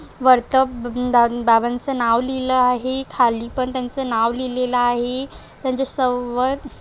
वर्त ब बाबंचा नाव लिहल आहे खाली पण त्यांचं नाव लिहलेल आहे त्यांच्या स वर--